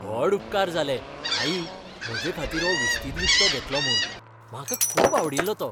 व्हड उपकार जाले, आई, म्हजेखातीर हो विश्तीद विकतो घेतलो म्हूण, म्हाका खूब आवडिल्लो तो.